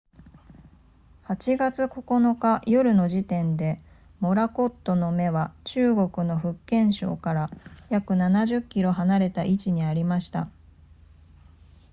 8月9日夜の時点でモラコットの目は中国の福建省から約70キロ離れた位置にありました